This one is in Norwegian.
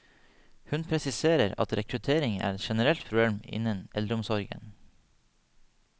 Hun presiserer at rekruttering er et generelt problem innen eldreomsorgen.